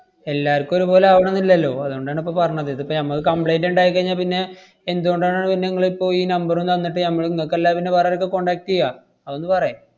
എല്ലാർക്കും ഒരുപോലെ ആവണോന്നില്ലല്ലോ, അതുകൊണ്ടാണിപ്പ പറഞ്ഞത്. ഇതിപ്പ ഞമ്മക്ക് complaint ഇണ്ടായിക്കഴിഞ്ഞാ പിന്നെ എന്തുകൊണ്ടാണ് പിന്നിങ്ങളിപ്പോ ഈ number ഉം തന്നിട്ട് ഞമ്മള് ഇങ്ങക്കല്ലാതെ പിന്നെ വേറാർക്കാ contact എയ്യാ? അതൊന്ന് പറെ.